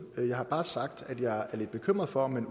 med jeg har bare sagt at jeg er lidt bekymret for at man